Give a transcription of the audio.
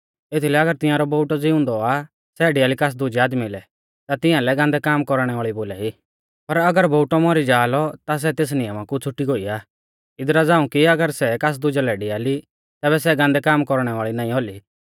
एथीलै अगर तिंआरौ बोउटौ ज़िउंदौ आ सै डेआली कास दुजै आदमी लै ता तिंआलै गान्दै कामा कौरणै वाल़ी बोलाई पर अगर बोउटौ मौरी जाआ लौ ता सै तेस नियमा कु छ़ुटी गोई आ इदरा झ़ांऊ कि अगर सै कास दुजै लै डिआली तैबै सै गान्दै काम कौरणै वाल़ी नाईं औली